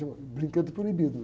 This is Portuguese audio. Chama brinquedo proibido.